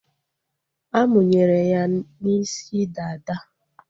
A munyere ya n'isi dada